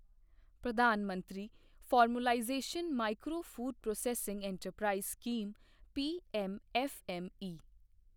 ਪ੍ਰਧਾਨ ਮੰਤਰੀ formalisation micro food processing enterprise scheme PMFME